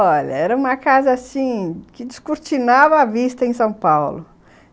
Olha, era uma casa assim, que descortinava a vista em São Paulo.